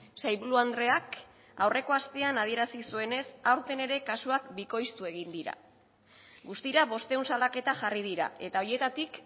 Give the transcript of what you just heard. sailburu andreak aurreko astean adierazi zuenez aurten ere kasuak bikoiztu egin dira guztira bostehun salaketa jarri dira eta horietatik